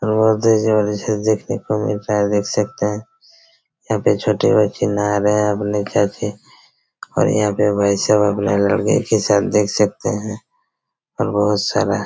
जबरदस्त जबरदस्त चीज देखने को मिलता है देख सकते हैं यहाँ पे छोटी बच्ची नहा रही है अपने छत पे और यहाँ पर भाई साहब अपने लड़के के साथ देख सकते है और बहुत सारा--